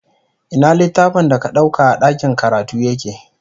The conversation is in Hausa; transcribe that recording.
Ina littafin da ka ɗauka a ɗakin karatu yake?